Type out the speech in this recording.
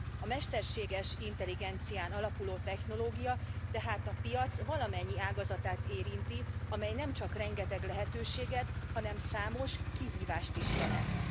A mesterséges intelligencián alapuló technológia tehát a piac valamennyi ágazatát érinti, amely nemcsak rengeteg lehetőséget, hanem számos kihívást is jelent.